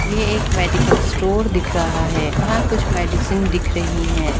ये एक medical store दिख रहा है यहाँ कुछ मेडिसिन दिख रही है।